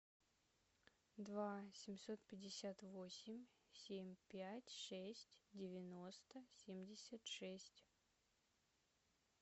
два семьсот пятьдесят восемь семь пять шесть девяносто семьдесят шесть